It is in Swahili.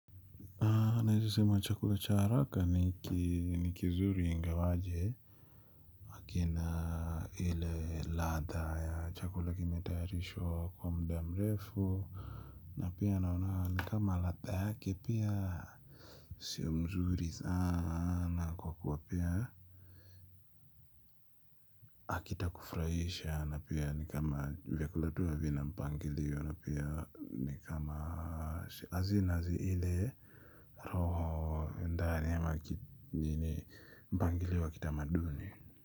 Naeze sema chakula cha araka ni kizuri ingawaje akina ile ladha ya chakula kimetayarishwa kwa mda mrefu na pia naona ni kama ladha yake pia. Sio mzuri sana kwa kuwa pia kufuraisha na pia ni kama vyakula tu havina mpangilio na pia ni kama azina ile roho ndani, ama mpangilio wa kitamaduni.